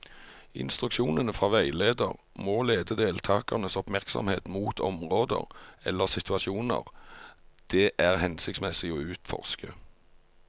Instruksjonene fra veileder må lede deltakernes oppmerksomhet mot områder eller situasjoner det er hensiktsmessig å utforske.